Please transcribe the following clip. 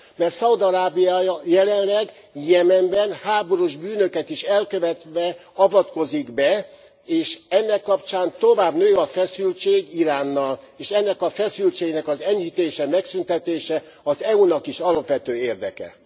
Mert Szaúd Arábia jelenleg Jemenben háborús bűnöket is elkövetve avatkozik be, és ennek kapcsán tovább nő a feszültség Iránnal, és ennek a feszültségnek az enyhítése, megszűntetése az EU nak is az alapvető érdeke.